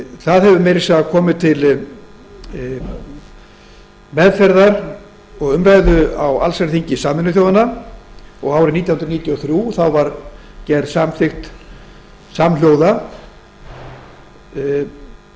það hefur meira að segja komið til meðferðar og umræðu á allsherjarþingi sameinuðu þjóðanna og árið nítján hundruð sjötíu og þrjú var gerð samhljóða samþykkt